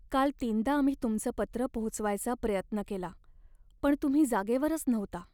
काल तीनदा आम्ही तुमचं पत्र पोहोचवायचा प्रयत्न केला पण तुम्ही जागेवरच नव्हता.